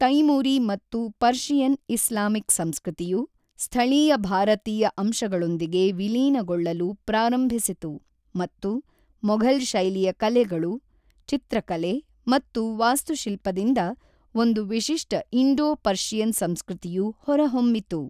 ತೈಮೂರಿ ಮತ್ತು ಪರ್ಷಿಯನ್-ಇಸ್ಲಾಮಿಕ್ ಸಂಸ್ಕೃತಿಯು ಸ್ಥಳೀಯ ಭಾರತೀಯ ಅಂಶಗಳೊಂದಿಗೆ ವಿಲೀನಗೊಳ್ಳಲು ಪ್ರಾರಂಭಿಸಿತು ಮತ್ತು ಮೊಘಲ್ ಶೈಲಿಯ ಕಲೆಗಳು, ಚಿತ್ರಕಲೆ ಮತ್ತು ವಾಸ್ತುಶಿಲ್ಪದಿಂದ ಒಂದು ವಿಶಿಷ್ಟ ಇಂಡೋ-ಪರ್ಷಿಯನ್ ಸಂಸ್ಕೃತಿಯು ಹೊರಹೊಮ್ಮಿತು.